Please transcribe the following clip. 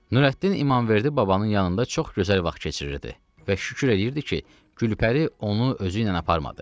Nürəddin İmamverdi babanın yanında çox gözəl vaxt keçirirdi və şükür edirdi ki, Gülpəri onu özü ilə aparmadı.